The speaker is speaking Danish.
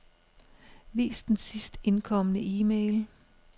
Vis den sidst indkomne e-mail.